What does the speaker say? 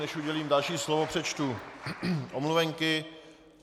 Než udělím další slovo, přečtu omluvenky.